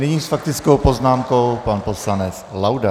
Nyní s faktickou poznámkou pan poslanec Laudát.